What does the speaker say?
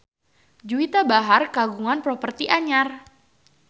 Juwita Bahar kagungan properti anyar